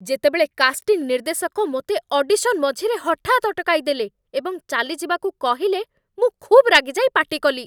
ଯେତେବେଳେ କାଷ୍ଟିଂ ନିର୍ଦ୍ଦେଶକ ମୋତେ ଅଡ଼ିସନ୍ ମଝିରେ ହଠାତ୍ ଅଟକାଇଦେଲେ ଏବଂ ଚାଲିଯିବାକୁ କହିଲେ, ମୁଁ ଖୁବ୍ ରାଗିଯାଇ ପାଟିକଲି।